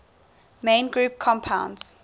main group compounds